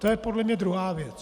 To je podle mě druhá věc.